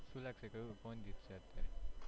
શું લાગશે કયું કોણ જીતશે અત્યારે?